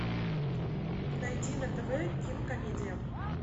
найди на тв кинокомедия